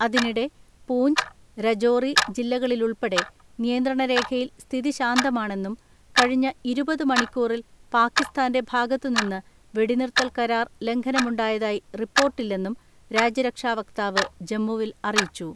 അതിനിടെ പൂഞ്ച്, രജോറി ജില്ലകാളിലുൾപ്പെടെ നിയന്ത്രണരേഖയിൽ സ്ഥിതി ശാന്തമാണെന്നും കഴിഞ്ഞ ഇരുപത് മണിക്കൂറിൽ പാകിസ്ഥാന്റെ ഭാഗത്തുനിന്ന് വെടിനിർത്തൽ കരാർ ലംഘനമുണ്ടായതായി റിപ്പോർട്ടില്ലെന്നും രാജ്യരക്ഷാ വക്താവ് ജമ്മുവിൽ അറിയിച്ചു.